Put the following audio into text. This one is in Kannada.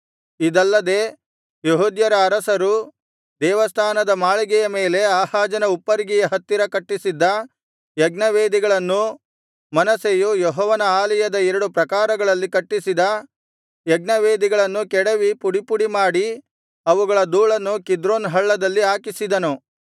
ಇದಲ್ಲದೆ ಯೆಹೂದ್ಯರ ಅರಸರು ದೇವಸ್ಥಾನದ ಮಾಳಿಗೆಯ ಮೇಲೆ ಆಹಾಜನ ಉಪ್ಪರಿಗೆಯ ಹತ್ತಿರ ಕಟ್ಟಿಸಿದ್ದ ಯಜ್ಞವೇದಿಗಳನ್ನೂ ಮನಸ್ಸೆಯು ಯೆಹೋವನ ಆಲಯದ ಎರಡು ಪ್ರಾಕಾರಗಳಲ್ಲಿ ಕಟ್ಟಿಸಿದ ಯಜ್ಞವೇದಿಗಳನ್ನೂ ಕೆಡವಿ ಪುಡಿಪುಡಿ ಮಾಡಿ ಅವುಗಳ ಧೂಳನ್ನು ಕಿದ್ರೋನ್ ಹಳ್ಳದಲ್ಲಿ ಹಾಕಿಸಿದನು